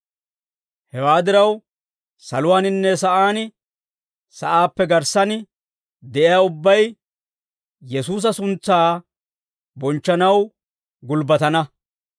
Hewaa diraw, saluwaaninne sa'aan, sa'aappe garssan de'iyaa ubbay, Yesuusa suntsaa bonchchanaw gulbbatana.